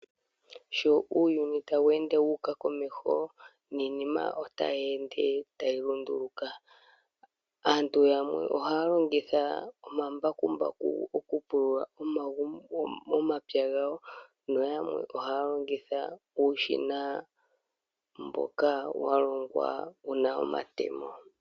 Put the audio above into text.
Sho uuyuni tawu ende wu uka komesho niinima otayi ende tayi lunduluka. Aantu yamwe ohaya longitha omambakumbaku okupulula omapya gawo noyamwe ohaya longitha uushina mboka walongwa wuna omatemo.